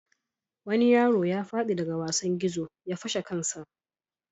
Wani yaro ya fadi daga wasan gizo ya fashe kansa.